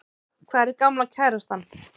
Hvar er gamla kærastan?